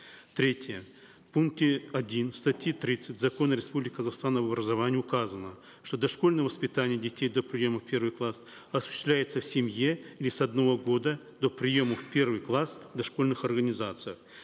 третье в пункте один статьи тридцать закона республики казахстан об образовании указано что дошкольное воспитание детей до приема в первый класс осуществляется в семье или с одного года до приема в первый класс в дошкольных организациях